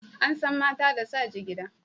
An san mata da sa jigida.